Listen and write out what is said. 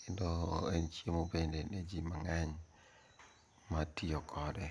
kendo en chiemo bende ne ji mang'eny matiyo kode.